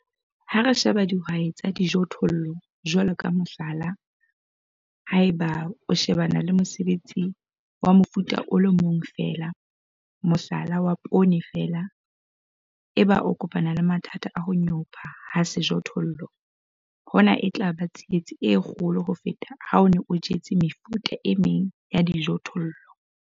Ha re sheba dihwai tsa dijothollo jwalo ka mohlala, ha eba o shebane le mosebetsi wa mofuta o le mong feela, mohlala wa poone feela, eba o kopana le mathata a ho nyopa ha sejothollo, hona e tla ba tsietsi e kgolo ho feta ha o ne o jetse mefuta e meng ya dijothollo.